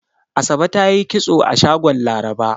Asabe ta yi kitso a shagon Laraba.